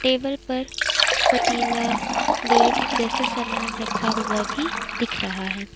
Table पर पतीला plate जैसा सामान रखा हुआ भी दिख रहा है।